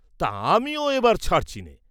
তা আমিও এবার ছাড়ছি নে!